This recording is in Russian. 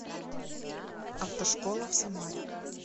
автошкола в самаре